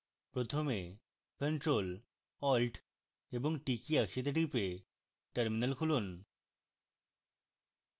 প্রথমে ctrl + alt + t key একসাথে টিপে terminal খুলুন